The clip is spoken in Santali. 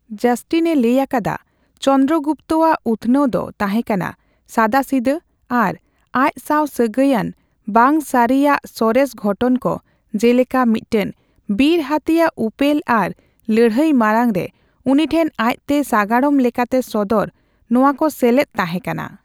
ᱡᱟᱥᱴᱤᱱᱮ ᱞᱟᱹᱭ ᱟᱠᱟᱫᱟ, ᱪᱚᱱᱫᱨᱚᱜᱩᱯᱛᱚ ᱟᱜ ᱩᱛᱷᱱᱟᱹᱣ ᱫᱚ ᱛᱟᱸᱦᱮ ᱠᱟᱱᱟ ᱥᱟᱫᱟᱥᱤᱫᱟᱹ ᱟᱨ ᱟᱡᱽ ᱥᱟᱣ ᱥᱟᱹᱜᱟᱹᱭᱟᱱ ᱵᱟᱝ ᱥᱟᱹᱨᱤᱭᱟᱜ ᱥᱚᱨᱮᱥ ᱜᱷᱚᱴᱚᱱ ᱠᱚ, ᱡᱮᱞᱮᱠᱟ ᱢᱤᱫᱴᱟᱝ ᱵᱤᱨ ᱦᱟᱹᱛᱤᱭᱟᱜ ᱩᱯᱮᱞ ᱟᱨ ᱞᱟᱹᱲᱦᱟᱹᱭ ᱢᱟᱲᱟᱝᱨᱮ ᱩᱱᱤᱴᱷᱮᱱ ᱟᱡᱽᱛᱮ ᱥᱟᱜᱟᱲᱚᱢ ᱞᱮᱠᱟᱛᱮ ᱥᱚᱫᱚᱨ ᱼ ᱱᱚᱣᱟ ᱠᱚ ᱥᱮᱞᱮᱫ ᱛᱟᱸᱦᱮ ᱠᱟᱱᱟ ᱾